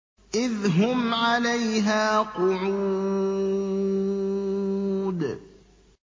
إِذْ هُمْ عَلَيْهَا قُعُودٌ